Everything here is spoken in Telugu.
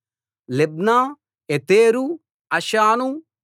Libnah Ether Ashan